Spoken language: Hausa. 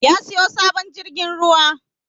Ya siyo sabon jirgin ruwa